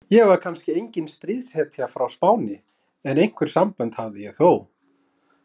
Ég var kannski engin stríðshetja frá Spáni, en einhver sambönd hafði ég þó.